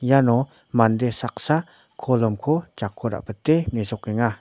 iano mande saksa kolomko jako ra·bite me·sokenga.